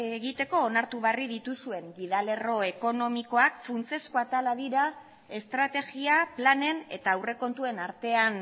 egiteko onartu berri dituzuen gida lerro ekonomikoak funtsezko atalak dira estrategia planen eta aurrekontuen artean